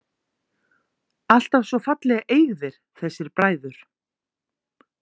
Alltaf svo fallega eygðir þessir bræður.